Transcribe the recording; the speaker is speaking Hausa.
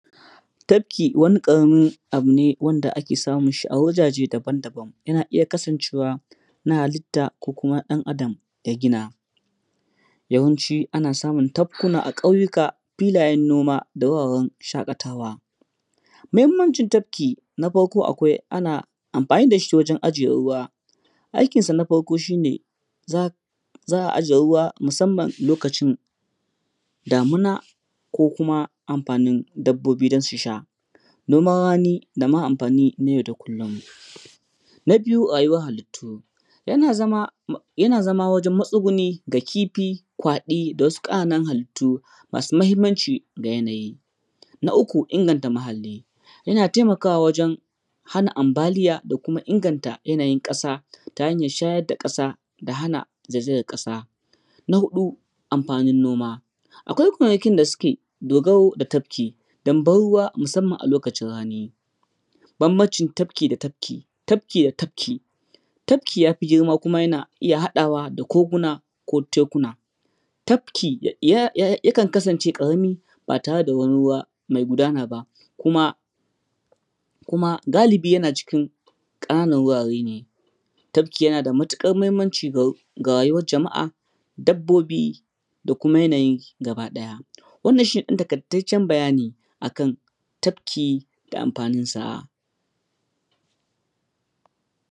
Tabki wani ƙaramin abu ne wanda ake samun shi a wajaje daban-daban yana iya kasancewa na halitta ko kuma ɗan adam ya gina. Yawanci ana samun tabkuna a ƙauyuka, filayen noma da wuraren shaƙatawa. Muhimmancin tabki na farko akwai ana amfani da shi ta wajen ajiye ruwa. Aikin san a farko shi ne za a ajiye ruwa musamman loacin damuna ko kuma aamfanin dabbobi don su sha, noman rani da ma amfani na yau da kullum. Na biyu rayuwan halittu, yana zama, yana zama wajen matsuguni ga kifi, kwaɗi da wasu ƙananan halittu masu muhimmanci ga yanayi. Na uku inganta muhalli, yana taimakawa wajen hana ambaliya da kuma inganta yanayin ƙasa ta hanyar shayar da ƙasa da hana zaizayar ƙasa. Na huɗu amfanin noma, akwai kwanakin da suke dogaro da tabki don ban ruwa musamman a lokacin rani. Bambancin Tabki da Tapki: tabki da tafki, tabki ta fi girma kuma yana iya haɗawa da koguna ko tekuna. Tafki ya kan kasance ƙarami ba tare da wani ruwa mai gudana ba kuma, kuma galibi yana cikin ƙananan wurare ne. Tafki yana da matuƙar muhimmanci ga rayuwar jama’a, dabbobi da kuma yanayi gaba ɗaya. Wannan shine ɗan taƙaitaccen bayani akan tabki da amfanin sa.